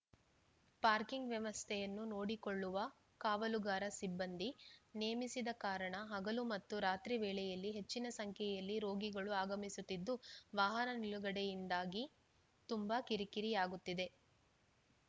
parking ವ್ಯವಸ್ಥೆಯನ್ನು ನೋಡಿಕೊಳ್ಳವ ಕಾವಲುಗಾರ ಸಿಬ್ಬಂದಿ ನೇಮಿಸದ ಕಾರಣ ಹಗಲು ಮತ್ತು ರಾತ್ರಿ ವೇಳೆಯಲ್ಲಿ ಹೆಚ್ಚಿನ ಸಂಖ್ಯೆಯಲ್ಲಿ ರೋಗಿಗಳು ಆಗಮಿಸುತ್ತಿದ್ದು ವಾಹನ ನಿಲುಗಡೆಯಿಂದಾಗಿ ತುಂಬಾ ಕಿರಿಕಿರಿಯಾಗುತ್ತಿದೆ